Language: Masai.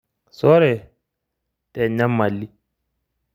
Sore te nyamali.